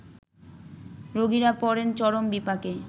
রোগীরা পড়েন চরম বিপাকে